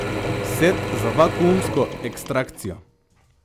Set za vakuumsko ekstrakcijo.